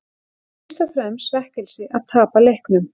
Það er fyrst og fremst svekkelsi að tapa leiknum.